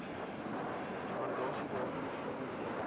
waardasiedatum vorm deel